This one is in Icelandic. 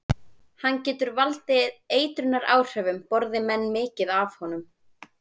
Hann getur valdið eitrunaráhrifum borði menn mikið af honum.